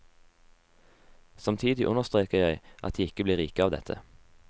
Samtidig understreker jeg at de ikke blir rike av dette.